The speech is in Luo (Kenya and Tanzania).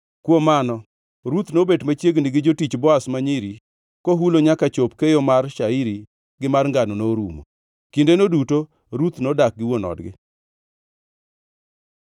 Kuom mano, Ruth nobet machiegni gi jotich Boaz ma nyiri kohulo nyaka chop keyo mar shairi gi mar ngano norumo. Kindeno duto Ruth nodak gi wuon odgi.